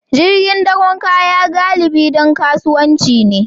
Jirgin dakon kaya galibi don kasuwanci ne